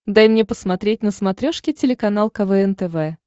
дай мне посмотреть на смотрешке телеканал квн тв